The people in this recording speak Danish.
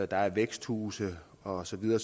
der er væksthuse og så videre